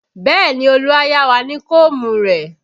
Bẹẹ ni, Olu a yá wa ní kóómù rẹ̀